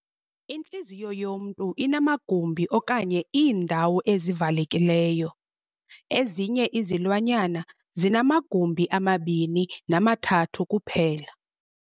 Intliziyo yomntu inamagumbi okanye iindawo ezivalekileyo. ezinye izilwanyana zinamagumbi amabini namathathu kuphela.